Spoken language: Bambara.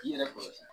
K'i yɛrɛ kɔlɔsi